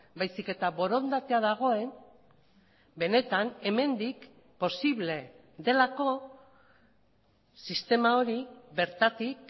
baizik eta borondatea dagoen benetan hemendik posible delako sistema hori bertatik